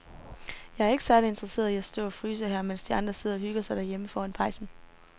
Jeg er ikke særlig interesseret i at stå og fryse her, mens de andre sidder og hygger sig derhjemme foran pejsen.